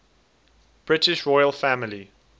british royal family